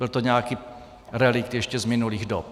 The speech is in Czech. Byl to nějaký relikt ještě z minulých dob.